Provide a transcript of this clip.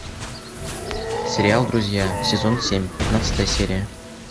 сериал друзья сезон семь пятнадцатая серия